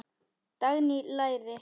Dagný: Læri.